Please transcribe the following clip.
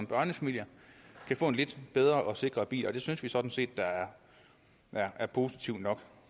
børnefamilierne kan få en lidt bedre og sikrere bil og det synes vi sådan set er positivt nok